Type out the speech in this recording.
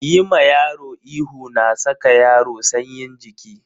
Yi ma yaro ihu na saka yaro sanyin jiki.